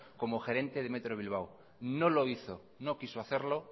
como gerente del metro bilbao no lo hizo no quiso hacerlo